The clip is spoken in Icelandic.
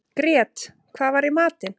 Grét, hvað er í matinn?